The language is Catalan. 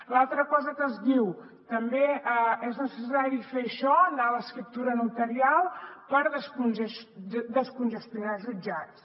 l’altra cosa que es diu també és necessari fer això anar a l’escriptura notarial per descongestionar els jutjats